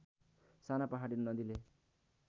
साना पहाडी नदीले